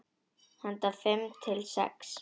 Handa fimm til sex